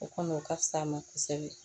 O kɔni o ka fisa a ma kosɛbɛ